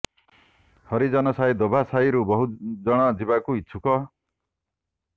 ହରିଜନ ସାହି ଧୋବା ସାହିରୁ ବହୁ ଜଣ ଯିବାକୁ ଇଚ୍ଛୁକ